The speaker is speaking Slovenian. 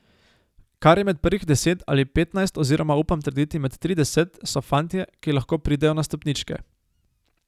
Kar je med prvih deset ali petnajst oziroma upam trditi med trideset, so fantje, ki lahko pridejo na stopničke.